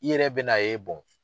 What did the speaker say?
I yɛrɛ bɛ n'a ye